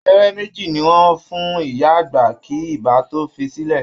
Abẹ́rẹ́ méje ni wọ́n fún ìyá àgbà kí ibà tó fi í sílẹ̀